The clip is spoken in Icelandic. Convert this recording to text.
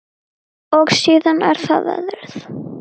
Og síðan er það veðrið.